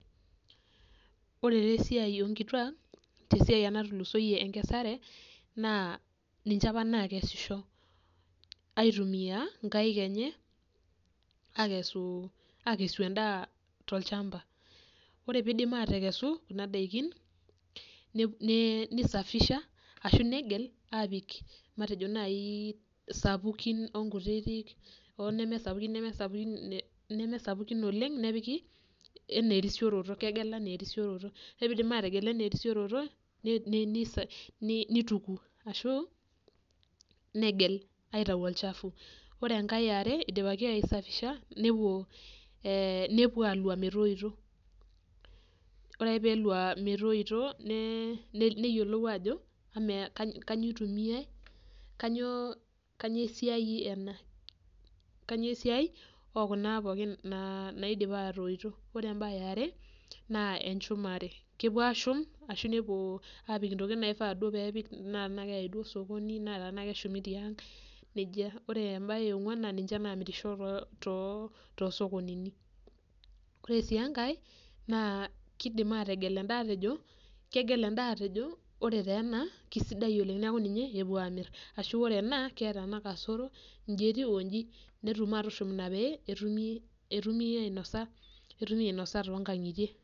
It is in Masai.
Ore te esiai onkituak tesiai natulusoyie enkesare na ninche apa nakesisho aitumia nkaik enyeakesu endaa tolchamba, ore pidip atekesu kuna dakini nisafisha ashu negel matejo nai sapukin onkutitik onemesapukin oleng nepiki anaa erisioroto orepidip ategel ana erisioroto nituku ashu negel aitau olchafu ore enkae eare idipaki aisafishanepuo alua metoito, ore ake pelua metoito piyolou ajo kanyio itumiai kanyio esiai ena kanyio esiaiekuna pookin naidipa atoito ore eniare na enchumare, kepuo ashum arashu apik ntokitin naifaa pepiki ana keshumi tiang ore embae eang na ninche namirisho tosokonini ore si enkae na kidim ategel endaa ajo ore taa ena na kesidai oleng na ninche upuo amir ashu keeta ena kasoro nji etiu onji ina pee etumi ainosa tonkangitie.